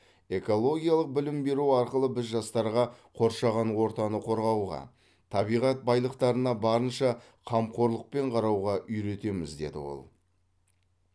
экологиялық білім беру арқылы біз жастарға қоршаған ортаны қорғауға табиғат байлықтарына барынша қамқорлықпен қарауға үйретеміз деді ол